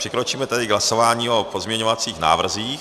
Přikročíme k hlasování o pozměňovacích návrzích.